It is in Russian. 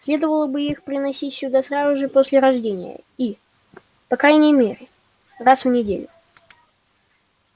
следовало бы их приносить сюда сразу же после рождения и по крайней мере раз в неделю